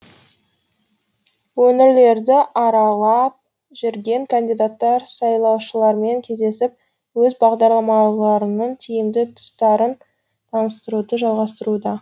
өңірлерді аралап жүрген кандидаттар сайлаушылармен кездесіп өз бағдарламаларының тиімді тұстарын таныстыруды жалғастыруда